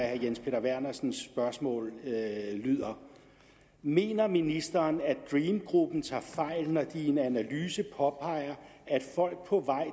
herre jens peter vernersens spørgsmål lyder mener ministeren at dream gruppen tager fejl når de i en analyse påpeger at folk på vej